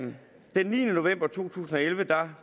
den niende november to tusind og elleve